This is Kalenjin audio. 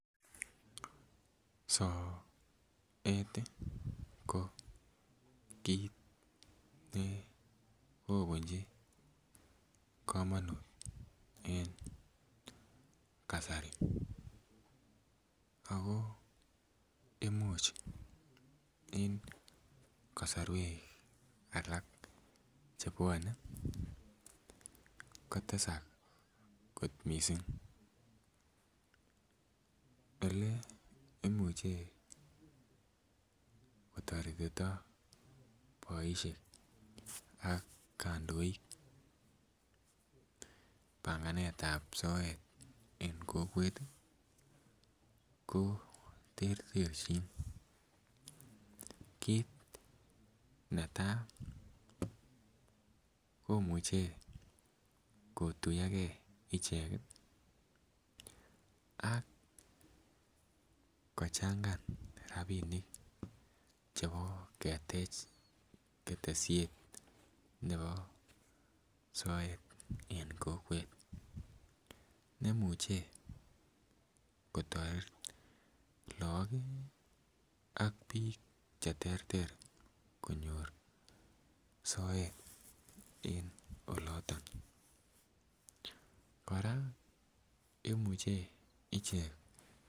Sokat ko kit ne kobunji kamanut en Kasari ago Imuch en kasarwek kotesak kot mising Ole Imuche kotoretito kandoik panganetab ab soet en kokwet ko terterjin kit netai komuche kotuyoge ichek ak kochangan rabinik chebo ketech ketesiet nebo sokat en kokwet nemuche kotoret lagok ak bik Che terter konyor soet en oloto kora imuche ichek